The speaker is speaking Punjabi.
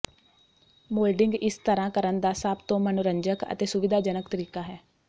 ਮੋਲਡਿੰਗ ਇਸ ਤਰ੍ਹਾਂ ਕਰਨ ਦਾ ਸਭ ਤੋਂ ਮਨੋਰੰਜਕ ਅਤੇ ਸੁਵਿਧਾਜਨਕ ਤਰੀਕਾ ਹੈ